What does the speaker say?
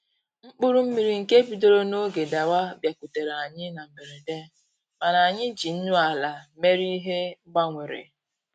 Mkpụrụ mmiri nke bidoro n'oge dawa bịakutere anyị na mberede, mana anyị ji nnu ala mere ihe mgbanwere